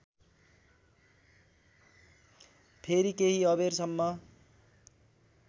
फेरि केही अबेरसम्म